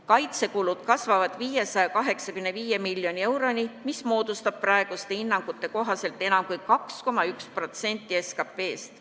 Kaitsekulud kasvavad 585 miljoni euroni, mis moodustab praeguste hinnangute kohaselt enam kui 2,1% SKT-st.